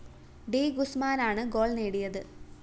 D ഗുസ്മാനാണ് goal നേടിയത്